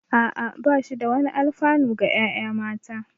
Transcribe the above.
Ah ah, ba shi da wani alfanu ga ƴaƴa mata